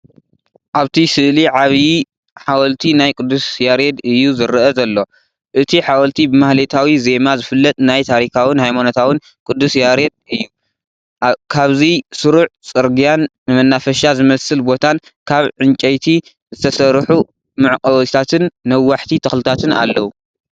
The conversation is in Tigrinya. ኣብቲ ስእሊ ዓቢ ሓወልቲ ናይ ቅዱስ ያሬድ እዩ ዝረአ ዝሎ።። እቲ ሓወልቲ ብማህሌታዊ ዜማ ዝፍለጥ ናይ ታሪካውን ሃይማኖታውን ቅዱስ ያሬድ እዩ ። ካብዚ ስሩዕ ጽርግያን መናፈሻ ዝመስል ቦታን ካብ ዕንጨይቲ ዝተሰርሑ መዕቆቢታትን ነዋሕቲ ተክልታት ኣለው።